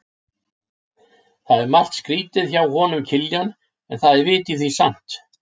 Það er margt skrýtið hjá honum Kiljan, en það er vit í því samt.